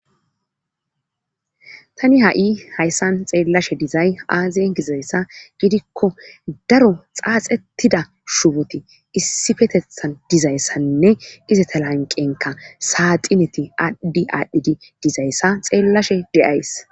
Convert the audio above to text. Tani ha'i hayssan xeellashe dizay aaziyen gizayssa gidikko daro xaaxettida shuboti issifetethan dizayssanne izata lanqenka saaxineti aaddi aadhdhidi dizayssa xeellashe deays.